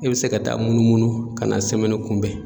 E be se ka taa munu munu ka na semɛni kunbɛn